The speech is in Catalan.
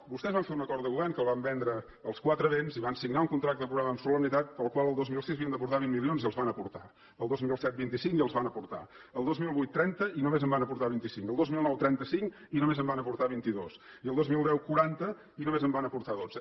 vostès van fer un acord de govern que el van vendre als quatre vents i van signar un contracte programa amb solemnitat pel qual el dos mil sis havien d’aportar vint milions i els van aportar el dos mil set vint cinc i els van aportar el dos mil vuit trenta i només en van aportar vint cinc el dos mil nou trenta cinc i només en van aportar vint dos i el dos mil deu quaranta i només en van aportar dotze